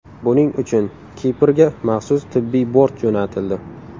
Buning uchun Kiprga maxsus tibbiy bort jo‘natildi.